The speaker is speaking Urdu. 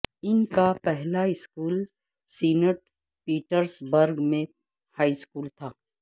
ان کا پہلا اسکول سینٹ پیٹرسبرگ میں ہائی اسکول تھا